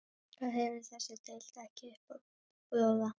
Hvað hefur þessi deild ekki upp á að bjóða?